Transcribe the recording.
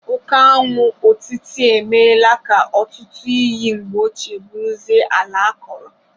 Oke añwụ otiti emela ka ọtụtụ iyi mgbe ochie bụrụzie ala akọrọ